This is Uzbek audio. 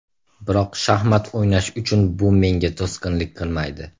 Biroq shaxmat o‘ynash uchun bu menga to‘sqinlik qilmaydi.